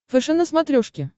фэшен на смотрешке